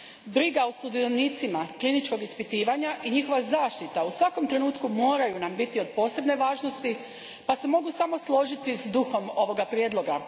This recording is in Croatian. Briga o sudionicima kliničkog ispitivanja i njihova zaštita u svakom nam trenutku moraju biti od posebne važnosti pa se mogu samo složiti s duhom ovoga prijedloga.